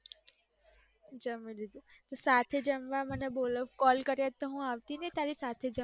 સાથે જમવા મને એવું, કોલ કર્યો હોત તો હું આવતી ને તારી સાથે જમવા.